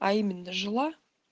а именно жила